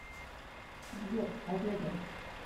сбер авега